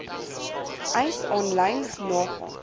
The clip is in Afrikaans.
eis aanlyn nagaan